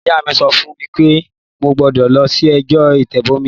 Ìyá mí sọ fún mi wípé mo gbọ́dọ̀ lọ sí ìjọ ìtẹ̀bọmi